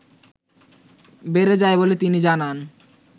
বেড়ে যায় বলে তিনি জানান